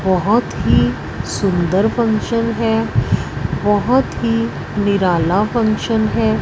बहुत ही सुंदर फंक्शन है बहुत ही निराला फंक्शन है।